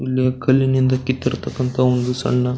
ಇಲ್ಲಿ ಕಲ್ಲಿನಿಂದ ಕಿತ್ತಿರ್ತಕನಂತಹ ಒಂದು ಸಣ್ಣ --